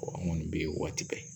an kɔni bɛ ye o waati bɛɛ